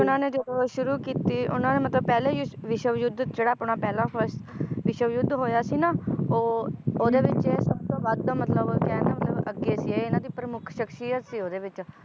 ਇਹਨਾਂ ਨੇ ਜਦੋ ਸ਼ੁਰੂ ਕੀਤੀ ਉਹਨਾਂ ਨੇ ਮਤਲਬ ਪਹਿਲੇ ਵਿਸ਼~ ਵਿਸ਼ਵ ਯੁੱਧ ਜਿਹੜਾ ਆਪਣਾ ਪਹਿਲਾਂ first ਵਿਸ਼ਵ ਯੁੱਧ ਹੋਇਆ ਸੀ ਨਾ ਉਹ ਓਹਦੇ ਵਿਚ ਸਬਤੋਂ ਵੱਧ ਮਤਲਬ ਕਹਿਣ ਦਾ ਮਤਲਬ ਅੱਗੇ ਗਏ ਸੀ ਇਹਨਾਂ ਦੀ ਪ੍ਰਮੁੱਖ ਸਖਸ਼ਿਯਤ ਸੀ ਓਹਦੇ ਵਿਚ